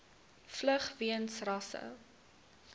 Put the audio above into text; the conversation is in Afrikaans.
vlug weens rasse